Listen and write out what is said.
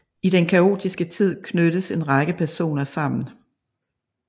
I den kaotiske tid knyttes en række personer sammen